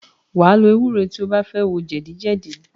Wàá lo ewúro tí o bá fẹ́ wo jẹ̀dí jẹ̀dí